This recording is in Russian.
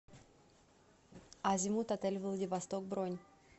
азимут отель владивосток бронь